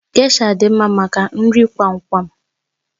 Gésha dị mma maka nri kwam kwam